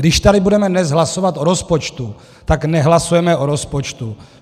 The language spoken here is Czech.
Když tady budeme dnes hlasovat o rozpočtu, tak nehlasujeme o rozpočtu.